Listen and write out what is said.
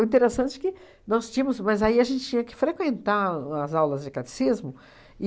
O interessante que nós tínhamos... Mas aí a gente tinha que frequentar as aulas de catecismo e...